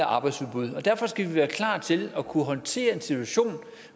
arbejdsudbud og derfor skal vi være klar til at kunne håndtere en situation